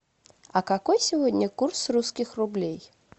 а какой сегодня курс русских рублей